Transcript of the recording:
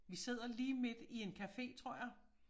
Vi sidder lige midt i en café tror jeg